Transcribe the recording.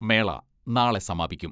മേള നാളെ സമാപിക്കും.